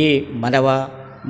ಈ ಮದವ್